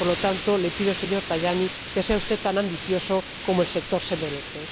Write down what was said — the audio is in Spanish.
Por lo tanto, le pido, señor Tajani, que sea usted tan ambicioso como el sector se merece.